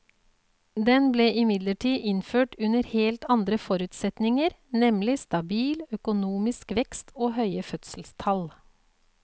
Den ble imidlertid innført under helt andre forutsetninger, nemlig stabil økonomisk vekst og høye fødselstall.